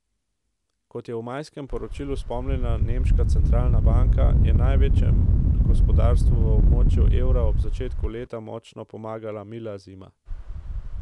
Kot je v majskem poročilu spomnila nemška centralna banka, je največjemu gospodarstvu v območju evra ob začetku leta močno pomagala mila zima.